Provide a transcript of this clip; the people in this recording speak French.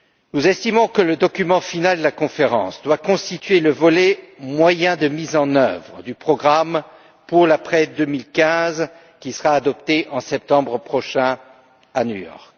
Nous estimons que le document final de la conférence doit constituer le volet moyens de mise en œuvre du programme pour l'après 2015 qui sera adopté en septembre prochain à New York.